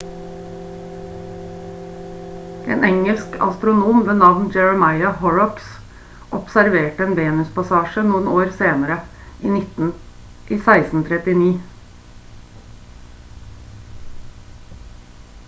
en engelsk astronom ved navn jeremiah horrocks observerte en venuspassasje noen år senere i 1639